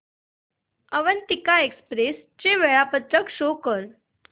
Avantika express चे वेळापत्रक show कर